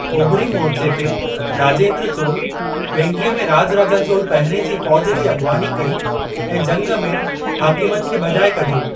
Ovary मोर्चे ते, राजेंद्र चोल, वेंगीअ में राजराजा चोल पहिरिएं जी फ़ौज जी अॻिवानी कई ऐं जंग में हाकिमनि खे भॼाए कढियो।